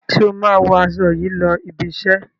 Ṣé o máa wọ aṣọ yìí lọ ibi-iṣẹ́?